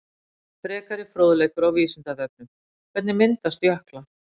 Frekari fróðleikur á Vísindavefnum: Hvernig myndast jöklar?